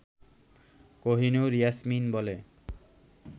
কহিনুর ইয়াসমিন বলে